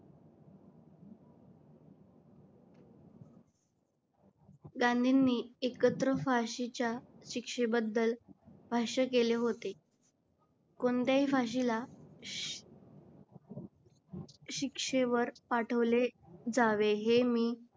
गांधींनी एकत्र फाशीच्या शिक्षेबद्दल भाष्य केले होते. कोणत्याही फाशीला श शिक्षेवर पाठवले जावे हे मी